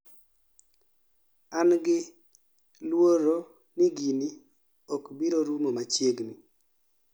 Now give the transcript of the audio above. an gi luoro ni gini okbirorumo machiegni